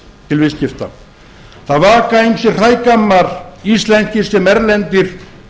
til viðskipta það vaka ýmsir hrægammar íslenskir sem erlendir